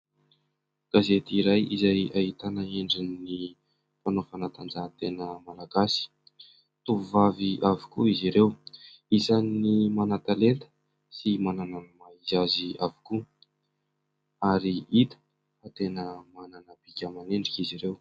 Gazety iray izay ahitana endrin'ny mpanao fanatanjahan-tena malagasy, tovovavy avokoa izy ireo, isan'ny manan-talenta sy manana ny maha-izy azy avokoa ary hita tena manana bika aman'endrika izy ireo.